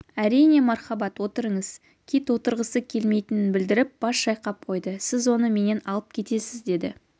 әрине мархабат отырыңыз кит отырғысы клмйтінін білдіріп бас шайқап қойды сіз оны менен алып кетесіз деді